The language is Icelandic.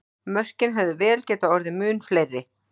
Mörkin hefðu vel getað orðið mun fleiri!